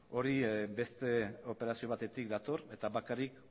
hori beste operazio batetik dator eta bakarrik